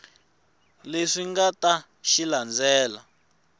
leswi nga ta xi landzela